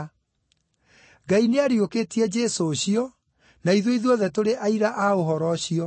Ngai nĩariũkĩtie Jesũ ũcio, na ithuĩ ithuothe tũrĩ aira a ũhoro ũcio.